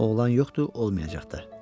Oğlan yoxdur, olmayacaq da.